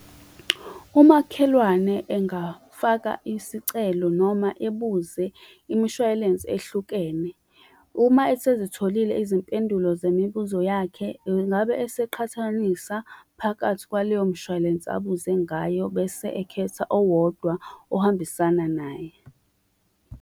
Umakhelwane engafaka isicelo noma ebuze imshwalense ehlukene. Uma esezitholile izimpendulo zemibuzo yakhe, engabe eseqhathanisa phakathi kwaleyo mshwalense abuze ngayo, bese ekhetha owodwa ohambisana naye.